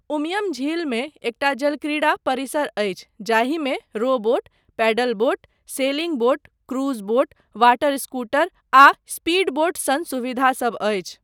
उमियम झीलमे एकटा जलक्रीड़ा परिसर अछि जाहिमे row boat, paddleboat, sailing boat, cruise boat, water scooter आ स्पीडबोट सन सुविधासब अछि।